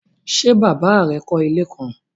Ṣe baba rẹ kọ ile kan?